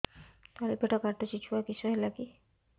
ତଳିପେଟ କାଟୁଚି ଛୁଆ କିଶ ହେଲା କି